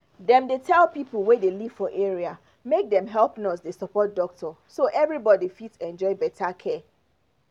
dem dey tell people wey dey live for area make dem help nurse dey support doctor so everybody fit enjoy better care